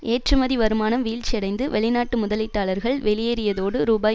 ஏற்றுமதி வருமானம் வீழ்ச்சியடைந்து வெளிநாட்டு முதலீட்டாளர்கள் வெளியேறியதோடு ரூபாய்